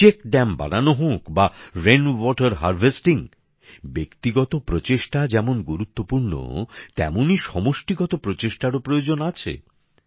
check dam বানানো হোক বা বৃষ্টির জল সংরক্ষণ ব্যক্তিগত প্রচেষ্টা যেমন গুরুত্বপূর্ণ তেমনই সমষ্টিগত প্রচেষ্টারও প্রয়োজন আছে